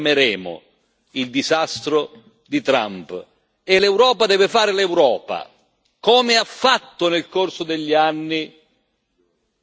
L'Europa deve fare l'Europa, come ha fatto nel corso degli anni quando ha costruito il mercato unico.